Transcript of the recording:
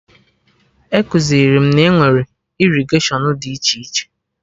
Ekuziri m na enwere irrigatiọnụ dị iche iche